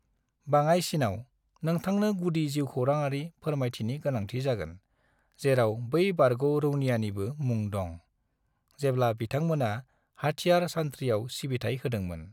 बाङाइसिनाव, नोंथांनो गुदि जिउखौरांआरि फोरामायथिनि गोनांथि जागोन, जेराव बै बारग' रौनियानिबो मुं दं, जेब्ला बिथांमोना हाथियार सान्थ्रियाव सिबिथाइ होदोंमोन।